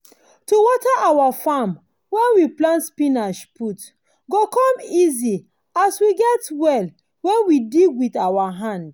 to water our farm when we plant spinach put go com easy as we get well wen we dig wit our hand.